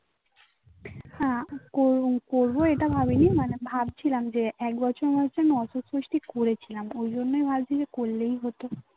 হ্যাঁ করবো এটা ভাবি নি মানে ভাবছিলাম যে এক বছর হয়েছে ওই জন্যই বলছি যে করলেই হতো